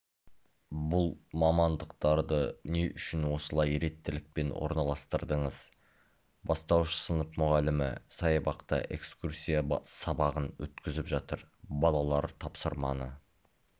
бұл мамандықтарды не үшін осындай ретттілікпен орналастырдыңыз бастауыш сынып мұғалімі саябақта экскурсия-сабағын өткізіп жатыр балалар тапсырманы